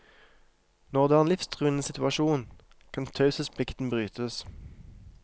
Når det er en livstruende situasjon, kan taushetsplikten brytes.